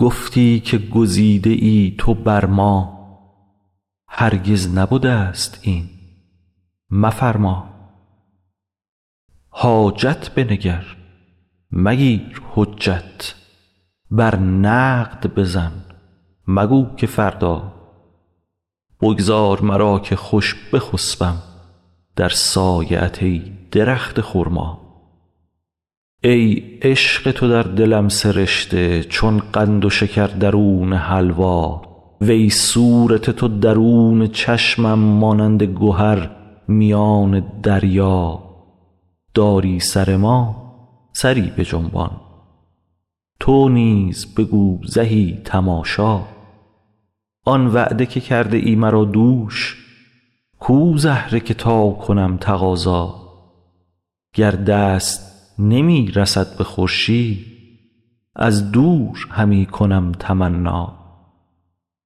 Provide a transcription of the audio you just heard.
گفتی که گزیده ای تو بر ما هرگز نبدست این مفرما حاجت بنگر مگیر حجت بر نقد بزن مگو که فردا بگذار مرا که خوش بخسپم در سایه ات ای درخت خرما ای عشق تو در دلم سرشته چون قند و شکر درون حلوا وی صورت تو درون چشمم مانند گهر میان دریا داری سر ما سری بجنبان تو نیز بگو زهی تماشا آن وعده که کرده ای مرا دوش کو زهره که تا کنم تقاضا گر دست نمی رسد به خورشید از دور همی کنم تمنا